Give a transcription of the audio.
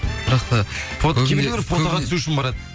бірақ та кейбіреулер фотоға түсу үшін барады